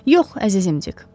Yox, əzizim Dik.